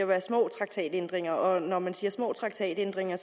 være små traktatændringer og når man siger små traktatændringer